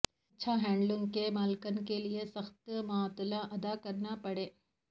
اچھا ہینڈلنگ کے مالکان کے لئے سخت معطلی ادا کرنا پڑے